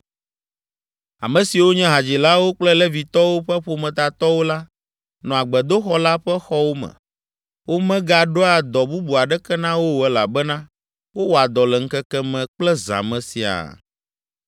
Ame siwo nye hadzilawo kple Levitɔwo ƒe ƒometatɔwo la, nɔa gbedoxɔ la ƒe xɔwo me. Womegaɖoa dɔ bubu aɖeke na wo o elabena wowɔa dɔ le ŋkeke me kple zã me siaa.